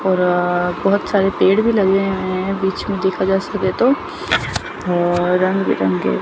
और बहुत सारे पेड़ भी लगे हैं बीच में देखा जा सके तो और रंग बिरंगे--